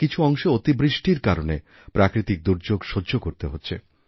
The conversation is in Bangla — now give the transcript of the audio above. কিছুঅংশে অতি বৃষ্টির কারণে প্রাকৃতিক দুর্যোগ সহ্য করতে হচ্ছে